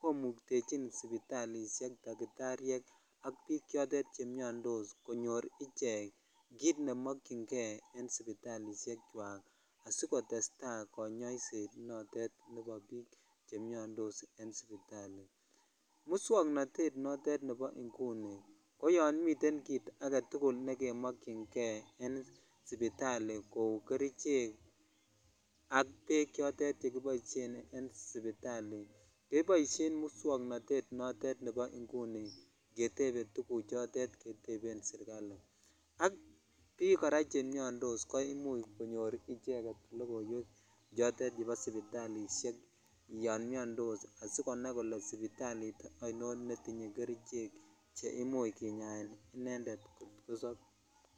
komuktechin sipitalishek takitariek ak biik chemiondos konyor ichek kiit nemokyinge en sipitalishekwak asikotesta konyoiset notet nebo biik chemiondos en sipitali, muswoknotet notet nebo inguni koyon miten kiit aketukul nekemokyinge en sipitali kouu kerichek ak beek chotet chekiboishen en sipitali keboishen muswoknotet notet nibo inguni ketebe tukuchotet keteben serikali ak biik kora chemiondos koimuch konyor ichek lokoiwek chotet chebo sipitalishek yoon miondos asikonai kole sipitalit ainon netinye kerichek cheimuch kinyaen inendet kot kosob.